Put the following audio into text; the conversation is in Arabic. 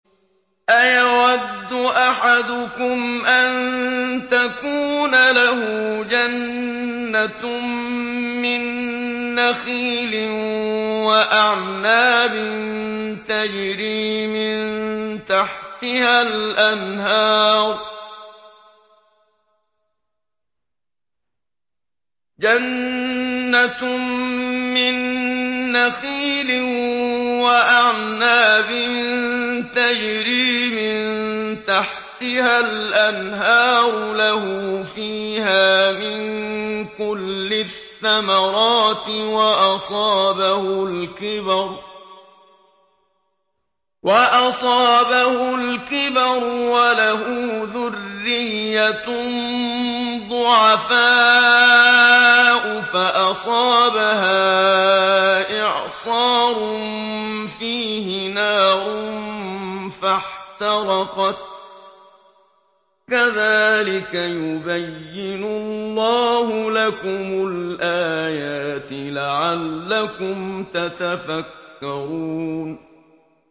أَيَوَدُّ أَحَدُكُمْ أَن تَكُونَ لَهُ جَنَّةٌ مِّن نَّخِيلٍ وَأَعْنَابٍ تَجْرِي مِن تَحْتِهَا الْأَنْهَارُ لَهُ فِيهَا مِن كُلِّ الثَّمَرَاتِ وَأَصَابَهُ الْكِبَرُ وَلَهُ ذُرِّيَّةٌ ضُعَفَاءُ فَأَصَابَهَا إِعْصَارٌ فِيهِ نَارٌ فَاحْتَرَقَتْ ۗ كَذَٰلِكَ يُبَيِّنُ اللَّهُ لَكُمُ الْآيَاتِ لَعَلَّكُمْ تَتَفَكَّرُونَ